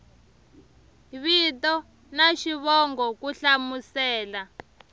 vito na xivongo ku hlamusela